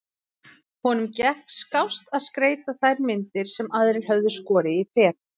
Honum gekk skást að skreyta þær myndir sem aðrir höfðu skorið í tré.